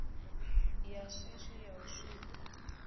ya shishi ya u sikwa